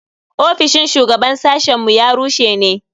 Ofishin shugaban sashen mu ya rushe ne.